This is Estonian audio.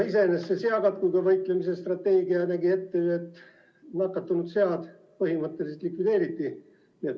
Iseenesest see seakatkuga võitlemise strateegia nägi aga ette, et nakatunud sead põhimõtteliselt likvideeriti.